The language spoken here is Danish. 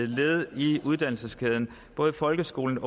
led i uddannelseskæden både i folkeskolen